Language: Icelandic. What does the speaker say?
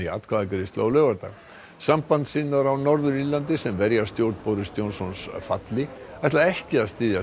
atkvæðagreiðslu á laugardag sambandssinnar á Norður Írlandi sem verja stjórn Boris Johnsons falli ætla ekki að styðja